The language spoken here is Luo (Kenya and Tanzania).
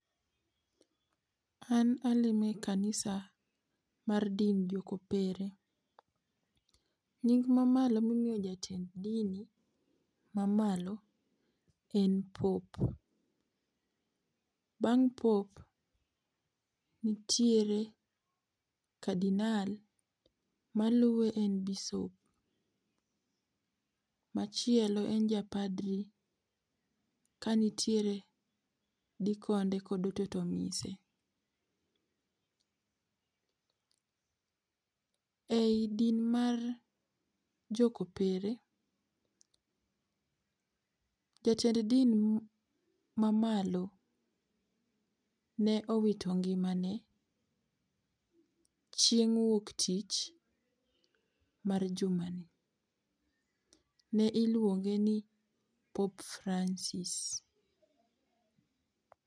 An alemo e kanisa mar din jo kopere. Nying ma malo mi imiyo jatend dini ma malo en pope, bang' pope nitiere cardinal, maluwe en bisop. machielo en ja padri ka nitiere dikonde kod mtoto mise.E i din mar jo ko opere jatend din ma malo ne owito ngima ne chieng' wuok tich ma juma ni. Ne iluonge ni pope Francis.